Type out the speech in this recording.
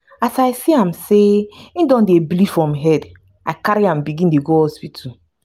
as i see am sey im don dey bleed from head i carry am begin dey go hospital.